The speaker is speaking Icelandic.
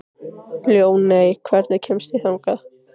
Ljóney, hvernig kemst ég þangað?